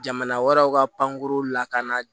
Jamana wɛrɛw ka pankurun lakana